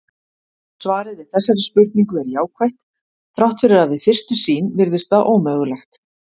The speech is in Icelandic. Svarið við þessari spurningu er jákvætt þrátt fyrir að við fyrstu sýn virðist það ómögulegt.